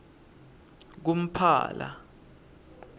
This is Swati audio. kumphala